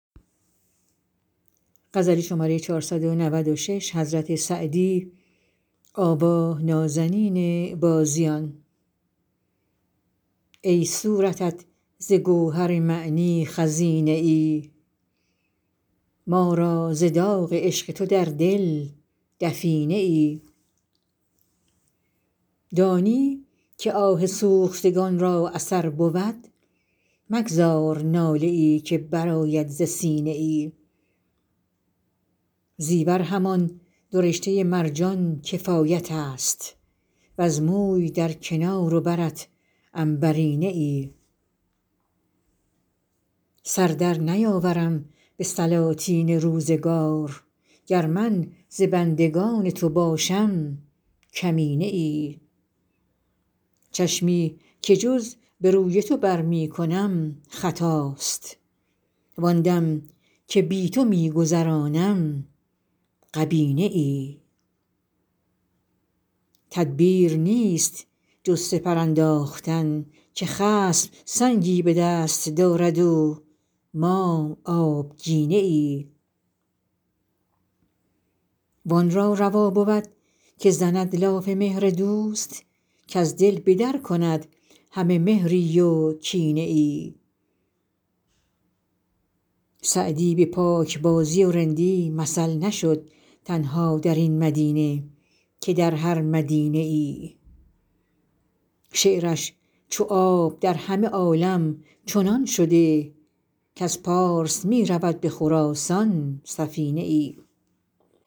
ای صورتت ز گوهر معنی خزینه ای ما را ز داغ عشق تو در دل دفینه ای دانی که آه سوختگان را اثر بود مگذار ناله ای که برآید ز سینه ای زیور همان دو رشته مرجان کفایت است وز موی در کنار و برت عنبرینه ای سر در نیاورم به سلاطین روزگار گر من ز بندگان تو باشم کمینه ای چشمی که جز به روی تو بر می کنم خطاست وآن دم که بی تو می گذرانم غبینه ای تدبیر نیست جز سپر انداختن که خصم سنگی به دست دارد و ما آبگینه ای وآن را روا بود که زند لاف مهر دوست کز دل به در کند همه مهری و کینه ای سعدی به پاکبازی و رندی مثل نشد تنها در این مدینه که در هر مدینه ای شعرش چو آب در همه عالم چنان شده کز پارس می رود به خراسان سفینه ای